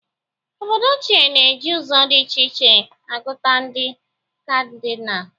Obodo ochie na-eji ụzọ dị iche iche agụta ndị Kadịnal.